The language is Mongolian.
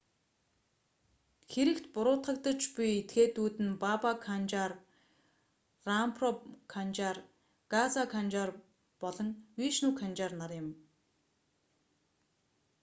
хэрэгт буруутгагдаж буй этгээдүүд нь баба канжар рампро канжар газа канжар болон вишну канжар нар юм